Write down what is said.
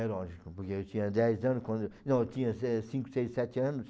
É lógico, porque eu tinha dez ano quando eu, não, eu tinha se cinco, seis, sete anos.